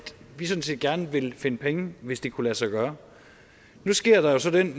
vi sådan set gerne ville finde penge hvis det kunne lade sig gøre nu sker der jo så den